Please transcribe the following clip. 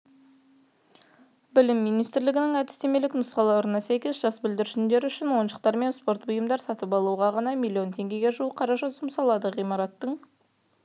білім министрлігінің әдістемелік нұсқауларына сәйкес жас бүлдіршіндер үшін ойыншықтар мен спорт бұйымдар сатып алуға ғана миллион теңгеге жуық қаражат жұмсалды ғимараттың